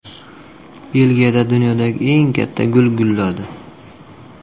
Belgiyada dunyodagi eng katta gul gulladi.